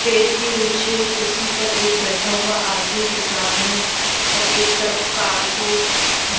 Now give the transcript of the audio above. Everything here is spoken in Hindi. पेड़ के नीचे कुर्सी पर एक बैठा हुआ आदमी दिख रहा है और एक तरफ कार को--